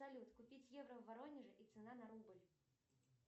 салют купить евро в воронеже и цена на рубль